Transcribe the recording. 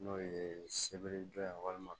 N'o ye seberiya walima